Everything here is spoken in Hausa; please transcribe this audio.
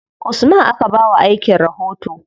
Usman aka ba wa aikin rahoto.